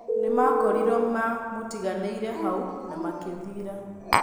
Nĩmakoriro ma mutiganĩrie vau na makĩthiĩra.